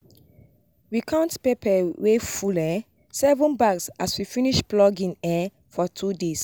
we count pepper wey full um seven bags as we finish plucking um for two days